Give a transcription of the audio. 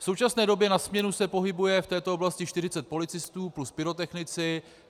V současné době na směnu se pohybuje v této oblasti 40 policistů plus pyrotechnici.